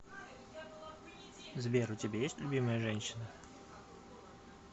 сбер у тебя есть любимая женщина